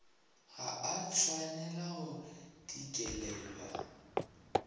ga a tshwanela go dikelelwa